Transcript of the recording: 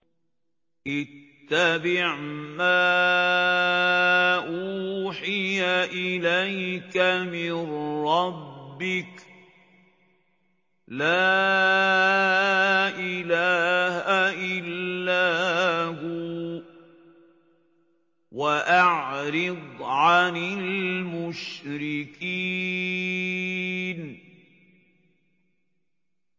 اتَّبِعْ مَا أُوحِيَ إِلَيْكَ مِن رَّبِّكَ ۖ لَا إِلَٰهَ إِلَّا هُوَ ۖ وَأَعْرِضْ عَنِ الْمُشْرِكِينَ